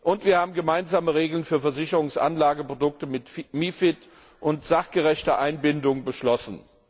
Und wir haben gemeinsame Regeln für Versicherungsanlageprodukte mit MiFID und sachgerechte Einbindung beschlossen.